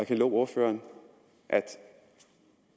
til ordføreren at